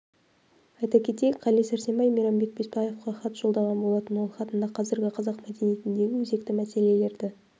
айта кетейік қали сәрсенбай мейрамбек бесбаевқа хат жолдаған болатын ол хатында қазіргі қазақ мәдениетіндегі өзекті мәселелерді